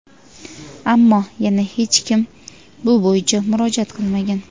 ammo yana hech kim bu bo‘yicha murojaat qilmagan.